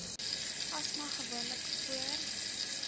asma gewoonlik voor